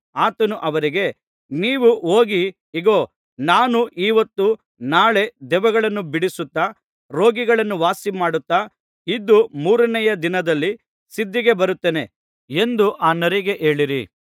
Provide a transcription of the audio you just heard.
ಆತನು ಅವರಿಗೆ ನೀವು ಹೋಗಿ ಇಗೋ ನಾನು ಈಹೊತ್ತು ನಾಳೆ ದೆವ್ವಗಳನ್ನು ಬಿಡಿಸುತ್ತಾ ರೋಗಿಗಳನ್ನು ವಾಸಿಮಾಡುತ್ತಾ ಇದ್ದು ಮೂರನೆಯ ದಿನದಲ್ಲಿ ಸಿದ್ಧಿಗೆ ಬರುತ್ತೇನೆ ಎಂದು ಆ ನರಿಗೆ ಹೇಳಿರಿ